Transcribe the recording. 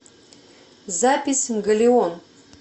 запись галеон